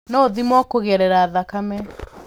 No ũthimwo kũgerera thakame.